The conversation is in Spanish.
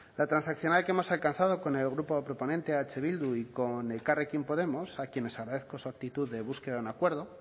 la transaccional que hemos alcanzado con el grupo proponente eh bildu y con elkarrekin podemos a quienes agradezco su actitud de búsqueda de un acuerdo